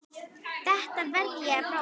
Þetta verð ég að prófa